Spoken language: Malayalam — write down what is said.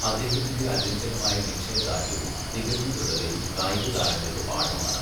അദ്ദേഹത്തിന്റെ അചഞ്ചലമായ നിശ്ചയദാർഢ്യവും തികഞ്ഞ ദൃഢതയും കായികതാരങ്ങൾക്ക് പാഠമാണ്.